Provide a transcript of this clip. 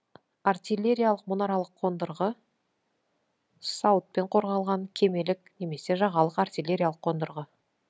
артиллериялық мұнаралық қондырғы сауытпен қорғалған кемелік немесе жағалық артиллериялық қондырғы